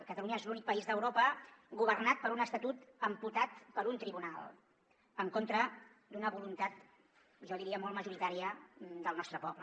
catalunya és l’únic país d’europa governat per un estatut amputat per un tribunal en contra d’una voluntat jo diria molt majoritària del nostre poble